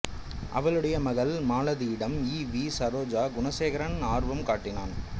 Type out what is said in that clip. அவளுடைய மகள் மாலதியிடம் ஈ வி சரோஜா குணசேகரன் ஆர்வம் காட்டினான்